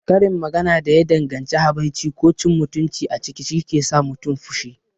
Karin magana da ya danganci habaici ko cin mutunci a ciki shike sa mutum fushi.